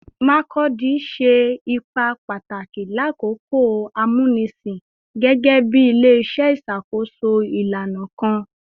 Makurdi ṣe ipa pataki lakoko akoko amunisin gẹgẹbi ile-iṣẹ iṣakoso ilana kan